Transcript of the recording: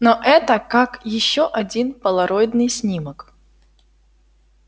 но это как ещё один полароидный снимок